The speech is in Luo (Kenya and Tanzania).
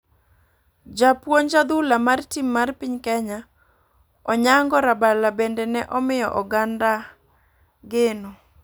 Japuonj Adhula mar tim mar piny Kenya, Onyango Rabalo ,bende ne omiyo oganda gano.